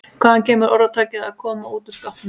Hvaðan kemur orðtakið að koma út úr skápnum?